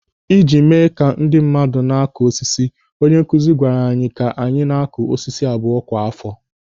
Ị ji mee ka ndị mmadụ na-akụ osisi, onye nkụzi gwara anyị ka anyị na-akụ osisi abụọ kwa àfọ.